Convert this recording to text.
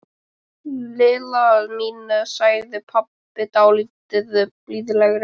Lilla mín sagði pabbi dálítið blíðlegri.